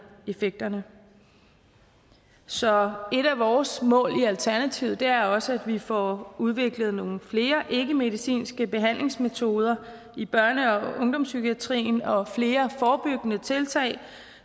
effekterne så et af vores mål i alternativet er også at vi får udviklet nogle flere ikkemedicinske behandlingsmetoder i børne og ungdomspsykiatrien og gør flere forebyggende tiltag